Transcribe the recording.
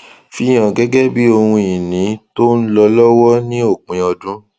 fihàn gẹgẹ bí ohun ìní tó ń lọ lọwọ ní òpin ọdún